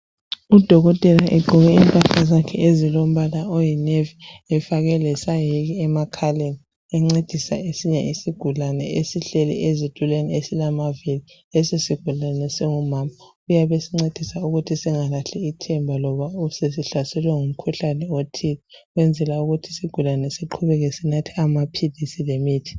Udokotela egqoke impahla zakhe ezilombala oyinevi efake lesayeke emakhaleni encedisa esinye isigulane esihleli ezitulweni esilamavili. Leso sigulane singumama uyabe esincedisa ukuthi singalahli ithemba ngoba sesihlaselwe ngumkhuhlane othile ukwenzela ukuthi isigulane siqhubeke sinatha amaphilisi lemithi.